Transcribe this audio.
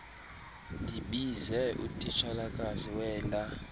ndibize utitshalakazi wela